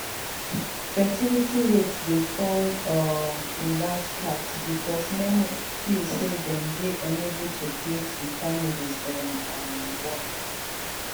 fertility rates dey fall um in large part becos many feel say dem dey unable to create di families dem um want